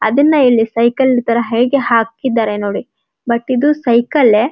ಅದನ್ನ ಇಲ್ಲಿ ಸೈಕಲ್ ತರ ಹೀಗೆ ಹಾಕಿದ್ದಾರೆ ನೋಡಿ ಬಟ್ ಇದು ಸೈಕಲ್ಲೇ --